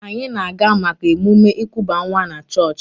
Anyị na-aga maka emume ịkuba nwa na chọọchị